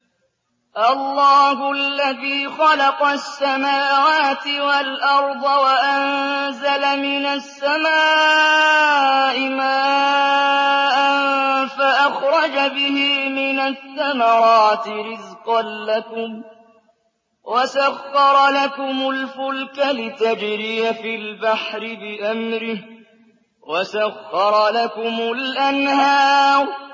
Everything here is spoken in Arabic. اللَّهُ الَّذِي خَلَقَ السَّمَاوَاتِ وَالْأَرْضَ وَأَنزَلَ مِنَ السَّمَاءِ مَاءً فَأَخْرَجَ بِهِ مِنَ الثَّمَرَاتِ رِزْقًا لَّكُمْ ۖ وَسَخَّرَ لَكُمُ الْفُلْكَ لِتَجْرِيَ فِي الْبَحْرِ بِأَمْرِهِ ۖ وَسَخَّرَ لَكُمُ الْأَنْهَارَ